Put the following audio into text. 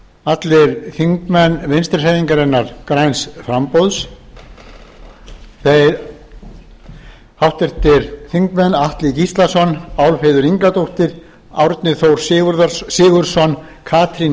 eru allir þingmenn vinstri hreyfingarinnar græns framboðs þeir háttvirtir þingmenn atli gíslason álfheiður ingadóttir árni þór sigurðsson katrín